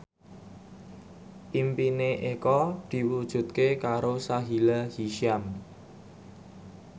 impine Eko diwujudke karo Sahila Hisyam